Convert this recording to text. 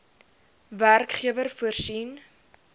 werkgewer voorsien